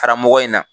Karamɔgɔ in na